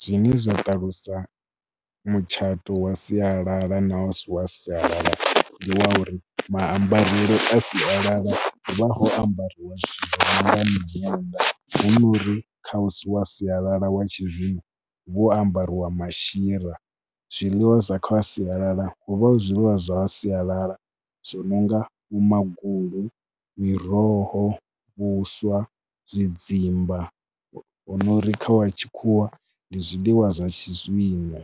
Zwine zwa ṱalusa mutshato wa sialala na u si wa sialala ndi wa uri maambarele a sialala hu vha ho ambariwa zwithu zwa hone miṅwenda hu no uri kha u si wa sialala wa tshizwino ho ambariwa mashira. Zwiḽiwa zwa kha wa sialala hu vha hu zwiḽiwa zwa sialala zwi no nga vhomagulu, miroho, vhuswa, zwidzimba. Hu no ri kha wa tshikhuwa ndi zwiḽiwa zwa tshizwino